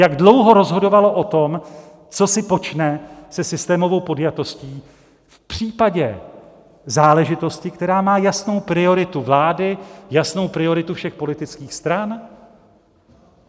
Jak dlouho rozhodovalo o tom, co si počne se systémovou podjatostí v případě záležitosti, která má jasnou prioritu vlády, jasnou prioritu všech politických stran?